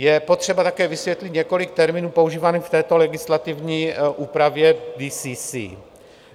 Je potřeba také vysvětlit několik termínů používaných v této legislativní úpravě DCC.